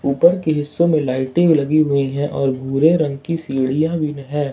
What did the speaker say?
ऊपर की हिस्सों में लाइटिंग लगी हुई है और भूरे रंग की सीढ़ियां भी है।